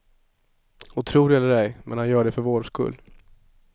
Och tro det eller ej men han gör det för vår skull.